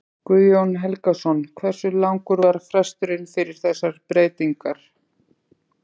Guðjón Helgason: Hversu langur var fresturinn fyrir þessar breytingar?